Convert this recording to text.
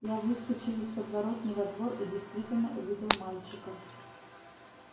я выскочил из подворотни во двор и действительно увидел мальчика